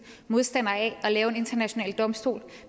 modstandere af at lave en international domstol